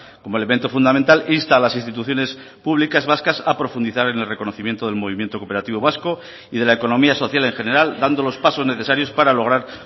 como elemento fundamental insta a las instituciones públicas vascas a profundizar en el reconocimiento del movimiento cooperativo vasco y de la economía social en general dando los pasos necesarios para lograr